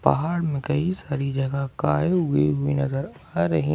पहाड़ में कई सारी जगह काई उई भी नजर आ रही हैं।